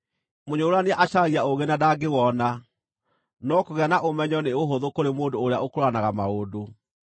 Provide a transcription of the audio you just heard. Mũnyũrũrania acaragia ũũgĩ na ndangĩwona, no kũgĩa na ũmenyo nĩ ũhũthũ kũrĩ mũndũ ũrĩa ũkũũranaga maũndũ.